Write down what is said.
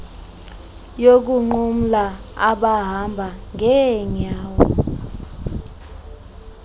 yokunqumla abahamba ngeenyawo